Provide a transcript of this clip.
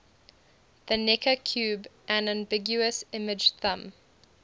the necker cube an ambiguous image thumb